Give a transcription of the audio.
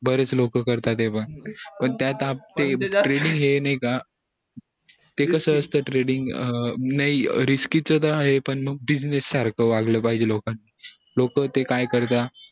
बरेच लोक करतात ते पण त्यात पण training ये नई का ते कसं treaning अं नई risky च ता आहे हापण मंग business सारखंवागलं पाहिजे लोकांनी लोक ते काय करतात